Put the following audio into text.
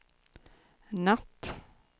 natt